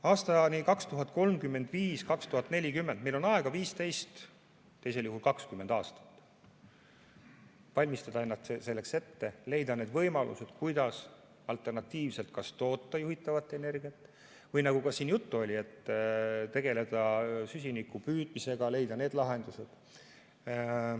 Aastani 2035 või 2040 on meil aega 15, teisel juhul 20 aastat, et valmistada end selleks ette, leida need võimalused, kuidas alternatiivselt kas toota juhitavat energiat, või nagu siin juttu oli, tegeleda süsiniku püüdmisega, leida need lahendused.